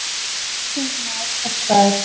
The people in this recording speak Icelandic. Danskur þingmaður sektaður